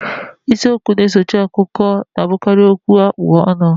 Isiokwu okwu na-esochi akụkọ na-abụkarị okwu a kpụ n'ọnụ